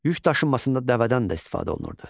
Yük daşınmasında dəvədən də istifadə olunurdu.